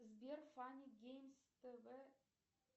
сбер фанни геймс тв